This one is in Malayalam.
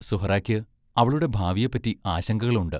സുഹറായ്ക്ക് അവളുടെ ഭാവിയെപ്പറ്റി ആശങ്കകളുണ്ട്.